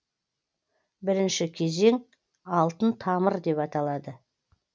бірінші кезең алтын тамыр деп аталды